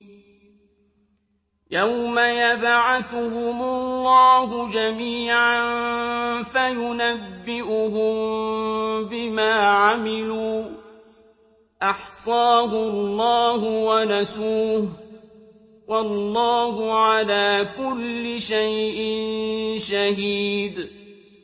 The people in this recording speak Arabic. يَوْمَ يَبْعَثُهُمُ اللَّهُ جَمِيعًا فَيُنَبِّئُهُم بِمَا عَمِلُوا ۚ أَحْصَاهُ اللَّهُ وَنَسُوهُ ۚ وَاللَّهُ عَلَىٰ كُلِّ شَيْءٍ شَهِيدٌ